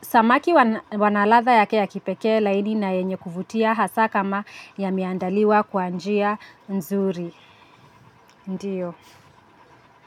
Samaki wana ladha yake ya kipekee laini na yenye kuvutia hasa kama yameandaliwa kwa njia nzuri. Ndiyo.